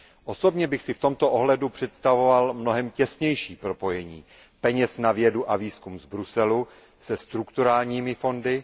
Osobně bych si v tomto ohledu představoval mnohem těsnější propojení peněz na vědu a výzkum z Bruselu se strukturálními fondy.